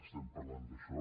estem parlant d’això